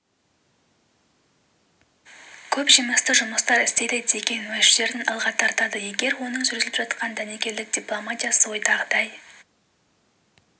көп жемісті жұмыстар істейді деген уәждерін алға тартады егер оның жүргізіп отырған дәнекерлік дипломатиясы ойдағыдай